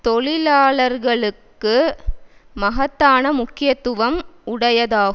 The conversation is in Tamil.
தொழிலாளர்களுக்கு மகத்தான முக்கியத்துவம் உடையதாகும்